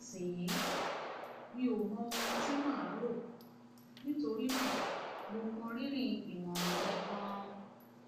nísinsìnyí mi ò mọ ohun tí màá rò nítorí náà mo mọ rírì ìmọràn rẹ ganan